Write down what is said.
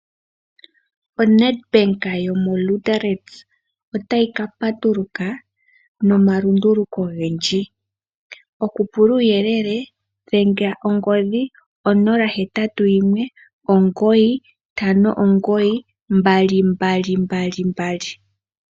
ONEDBANK yomoLuderitz otayi ka patuluka nomalunduluko ogendji, okupula uuyelele dhengela ongodhi 0819592222.